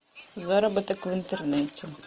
заработок в интернете